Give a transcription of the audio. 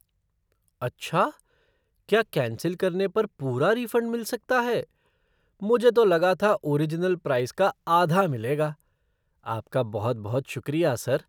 अच्छा! क्या कैंसिल करने पर पूरा रिफ़ंड मिल सकता है, मुझे तो लगा था ओरिजनल प्राइस का आधा मिलेगा। आपका बहुत बहुत शुक्रिया सर।